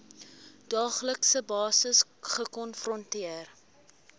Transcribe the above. daaglikse basis gekonfronteer